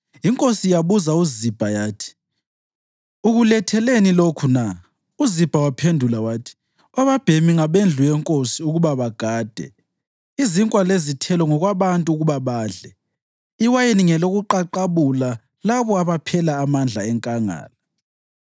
Inkosi yabuza uZibha yathi, “Ukuletheleni lokhu na?” UZibha waphendula wathi, “Obabhemi ngabendlu yenkosi ukuba bagade, izinkwa lezithelo ngokwabantu ukuba badle, iwayini ngelokuqaqabula labo abaphela amandla enkangala.”